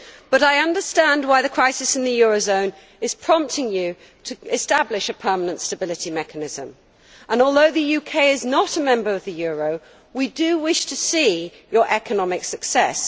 But I understand why the crisis in the euro area is prompting you to establish a permanent stability mechanism, and although the UK is not a member of the euro area, we do wish to see your economic success.